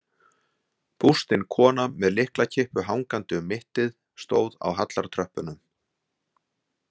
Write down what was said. Bústin kona með lyklakippu hangandi um mittið stóð á hallartröppunum.